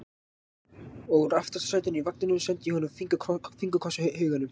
Og úr aftasta sætinu í vagninum sendi ég honum fingurkoss í huganum.